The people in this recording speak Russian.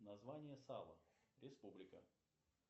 название сава республика